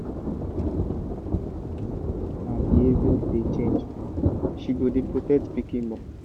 after animal mama born her behavior dey change she go dey protect her pikin more.